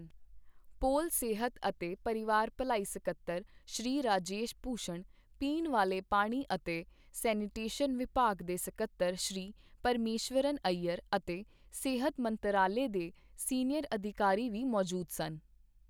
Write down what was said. ਪੌਲ, ਸਿਹਤ ਅਤੇ ਪਰਿਵਾਰ ਭਲਾਈ ਸਕੱਤਰ ਸ਼੍ਰੀ ਰਾਜੇਸ਼ ਭੂਸ਼ਣ, ਪੀਣ ਵਾਲੇ ਪਾਣੀ ਅਤੇ ਸੈਨੀਟੇਸ਼ਨ ਵਿਭਾਗ ਦੇ ਸਕੱਤਰ ਸ਼੍ਰੀ ਪਰਮੇਸ਼ਵਰਨ ਅਈਅਰ ਅਤੇ ਸਿਹਤ ਮੰਤਰਾਲੇ ਦੇ ਸੀਨੀਅਰ ਅਧਿਕਾਰੀ ਵੀ ਮੌਜੂਦ ਸਨ।